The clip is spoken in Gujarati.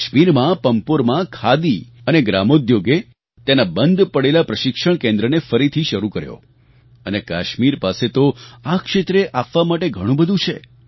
કાશ્મીરમાં પંપોરમાં ખાદી અને ગ્રામોદ્યોગે તેના બંધ પડેલા પ્રશિક્ષણ કેન્દ્રને ફરીથી શરૂ કર્યો અને કાશ્મીર પાસે તો આ ક્ષેત્રે આપવા માટે ઘણું બધું છે